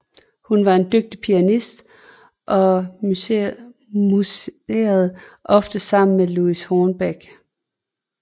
Hun var en dygtig pianist og musicerede ofte sammen med Louis Hornbeck